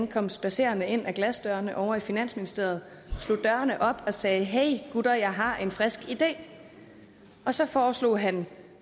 kom spadserende ind ad glasdørene ovre i finansministeriet slog dørene op og sagde hey gutter jeg har en frisk idé og så foreslog han